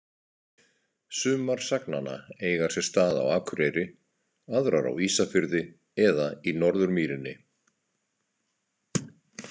Sumar sagnanna eiga sér stað á Akureyri, aðrar á Ísafirði eða í Norðurmýrinni.